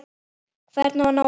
Hvernig á að ná bata?